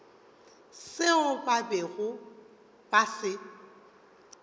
seo ba bego ba se